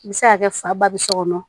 I bɛ se ka kɛ fa ba bi so kɔnɔ